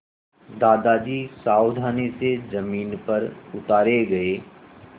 दादाजी सावधानी से ज़मीन पर उतारे गए